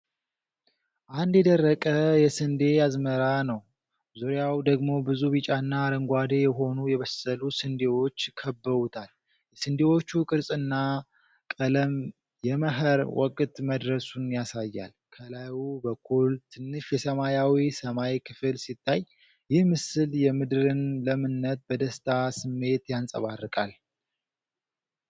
አንድ የደረቀ የስንዴ አዝመራ ነው፣ ዙሪያውን ደግሞ ብዙ ቢጫና አረንጓዴ የሆኑ የበሰሉ ስንዴዎች ከበውታል። የስንዴዎቹ ቅርጽና ቀለም የመኸር ወቅት መድረሱን ያሳያል። ከላይ በኩል ትንሽ የሰማያዊ ሰማይ ክፍል ሲታይ፣ ይህ ምስል የምድርን ለምነት በደስታ ስሜት ያንጸባርቃል።